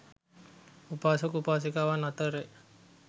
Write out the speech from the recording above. උපාසක උපාසිකාවන් අතර ය.